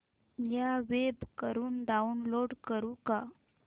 या वेब वरुन डाऊनलोड करू का